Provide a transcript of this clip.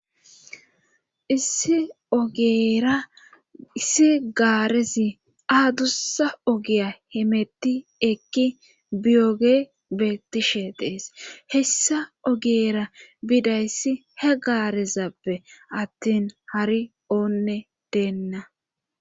Eraissi gaarezi aadussa ogiya hemetti ekki biyoge bettishe dees hessa ogyeera bidayssi he gaarezappe attin hari oonne deenna